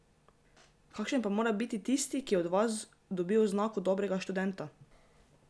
Kakšen pa mora biti tisti, ki od vas dobi oznako dobrega študenta?